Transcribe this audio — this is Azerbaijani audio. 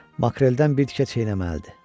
Makreldən bir tikə çeynəməlidir.